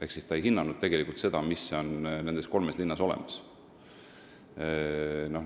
Ehk tegelikult ei hinnatud seda, mis on nendes kolmes linnas olemas.